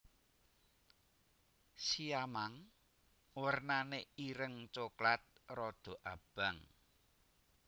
Siamang wernané ireng coklat rada abang